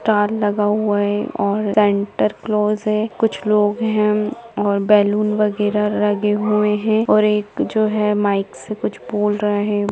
Star लगा हुआ है और सांता क्लॉज़ हैं कुछ लोग हैं और बैलून वगैरा लगे हुए हैं और एक जो हैं माइक से कुछ बोल रहें हैं।